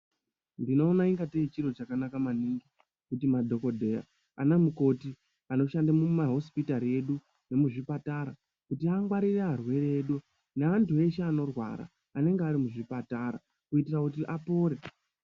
Ndinoona ingatei chiro chakanaka maningi kuti madhokodheya ana mukoti edu anoshande mumahosipitari edu nemuzvipatara kuti angwarire arwere edu neantu eshe anorwara anenge ari muzvipatara kuti apore.